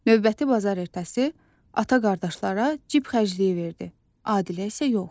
Növbəti bazar ertəsi ata qardaşlara cib xərcliyi verdi, Adilə isə yox.